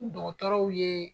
dɔgɔtɔrɔw ye